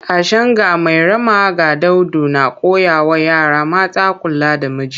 Tashen 'Ga Mairama ga Daudu’ na koya wa yara mata kula da miji